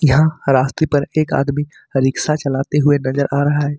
यहां रास्ते पर एक आदमी रिक्शा चलते हुए नजर आ रहा है।